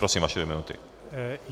Prosím, vaše dvě minuty.